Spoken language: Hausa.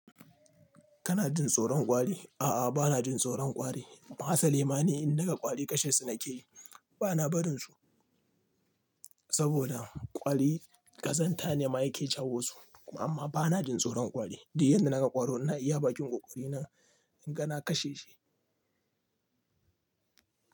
Kana jin tsoron kwari? A'a, bana jin tsoron kwari. Asali ma ni in naga kwari kashe su nake yi. Bana barin su saboda kwari ƙazanta ne ma yake jawo su. Kuma amma bana jin tsoron kwari. Di'uk yanda naga ƙwaro na iya bakin ƙoƙari na inga na kashe shi.